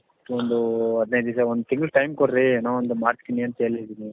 ಒಂದು ಹದಿನೈದು ದಿವಸ ಒಂದ್ ತಿಂಗಳು time ಕೊಡ್ರಿ ಏನೋ ಒಂದು ಮಾಡ್ತೀನಿ ಅಂತ ಹೇಳಿದೀನಿ